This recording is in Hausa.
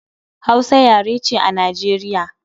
Hausa yare ce a Najeriya